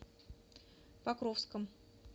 покровском